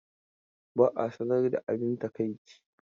Ba a sanar da abin takaici.